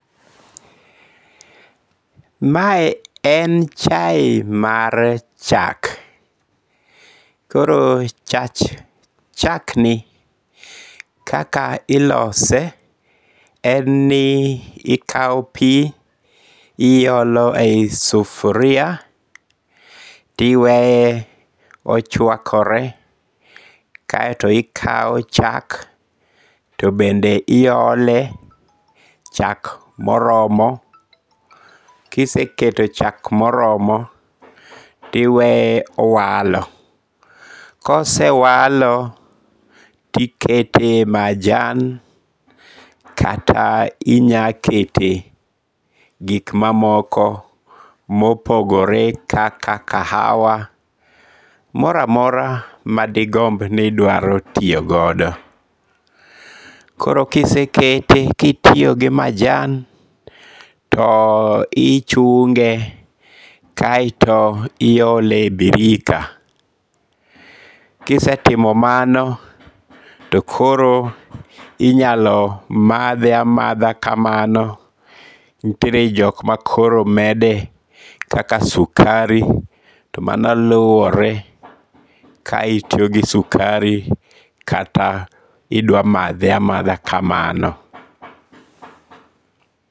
Mae en chae mar chak. Koro chach chak ni kaka ilose, en ni ikawo pi, iolo e yi sufria. Tiweye ochwakore, kaeto ikaw chak to bende iole, chak moromo. Kiseketo chak moromo tiweye owalo. Kosewalo, tikete majan kata inyakete gik mamoko mopogore kaka kahawa, moro amora ma digomb ni idwaro tiyo godo. Koro kisekete, kitiyo gi majan to ichunge kaeto iole e birika. Kisetimo mano to kor inyalo madhe amadha kamano. Nitiere jok ma koro mede kaka sukari to mano luwolre ka itiyo gi sukari kata idwa madhe amadha kamano.